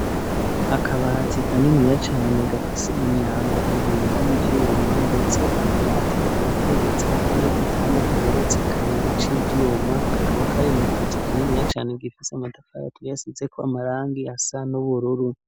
Akabati kaniniya cane gafise imyango ibiri y'ivyuma ndetse ako kabati kakaba kegetse impande y'igitanda kigeretse kabiri c'ivyuma kakaba kari mukizu kininiya cane gifise amatafari tuyasizeko amabara asa n'ubururu.